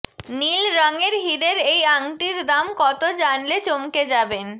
নীল রঙের হিরের এই আংটির দাম কত জানলে চমকে যাবেন